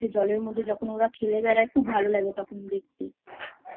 জলের মধ্যে যখন ওরা খেলে বেড়ায় খুব ভালো লাগে তখন দেখতে I